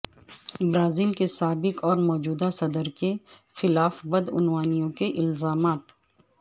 Brazil کے سابق اور موجودہ صدر کے خلاف بد عنوانیوں کے الزامات